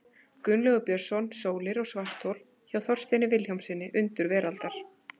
Gunnlaugur Björnsson, Sólir og svarthol, hjá Þorsteini Vilhjálmssyni, Undur veraldar.